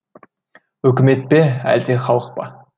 үкімет пе әлде халық па